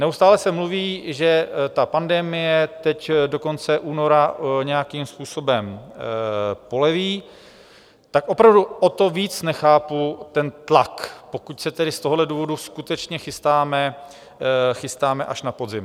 Neustále se mluví, že ta pandemie teď do konce února nějakým způsobem poleví, tak opravdu o to víc nechápu ten tlak, pokud se tedy z tohoto důvodu skutečně chystáme až na podzim.